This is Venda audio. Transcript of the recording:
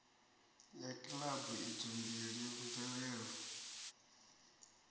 ya kilabu idzo mbili mvelelo